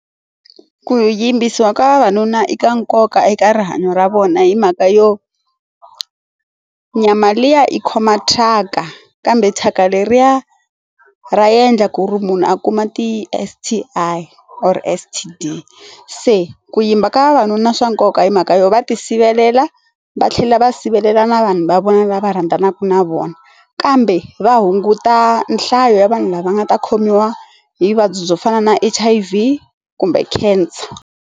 Ku yimbisiwa ka vavanuna i ka nkoka eka rihanyo ra vona hi mhaka yo nyama liya i khomaka thyaka kambe thyaka leriya ra endla ku ri munhu a kuma ti S_T_I or S_T_D se ku yimba ka vavanuna swa nkoka hi mhaka yo va ti sivelela va tlhela va sivelela na vanhu va vona lava rhandzanaka na vona kambe va hunguta nhlayo ya vanhu lava nga ta khomiwa hi vuvabyi byo fana na H_I_V kumbe Cancer.